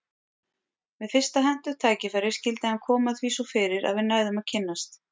Við fyrsta hentugt tækifæri skyldi hann koma því svo fyrir að við næðum að kynnast.